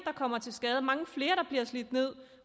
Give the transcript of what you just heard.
kommer til skade og mange flere bliver slidt ned